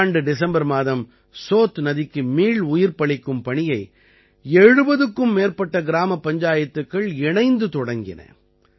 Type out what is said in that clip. கடந்த ஆண்டு டிசம்பர் மாதம் சோத் நதிக்கு மீள் உயிர்ப்பளிக்கும் பணியை 70க்கும் மேற்பட்ட கிராமப் பஞ்சாயத்துக்கள் இணைந்து தொடங்கின